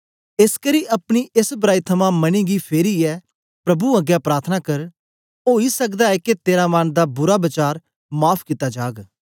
एसकरी अपनी एस बराई थमां मने गी फेरीये प्रभु अगें प्रार्थना कर ओई सकदा ऐ के तेरा मन दा बुरा वचार माफ़ कित्ता जाग